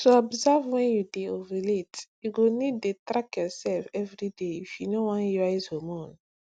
to observe when you dey ovulate you go need dey track yourself everyday if you no wan uise hormone